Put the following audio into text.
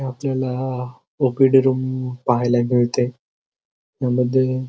आपल्याला OPD room पाहायला मिळते यामध्ये.